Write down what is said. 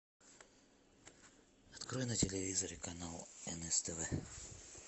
открой на телевизоре канал нств